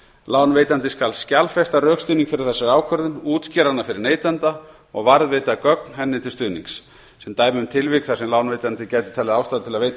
lánveitandi skal skjalfesta rökstuðning fyrir þessari ákvörðun útskýra hana fyrir neytanda og varðveita gögn henni til stuðnings sem dæmi um tilvik þar sem lánveitandi gæti talið ástæðu til að veita